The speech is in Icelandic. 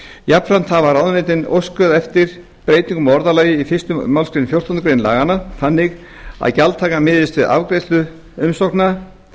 jafnframt hafa ráðuneytin óskað eftir breytingu á orðalagi í fyrstu málsgrein fjórtándu greinar laganna þannig að gjaldtaka miðist við afgreiðslu umsóknar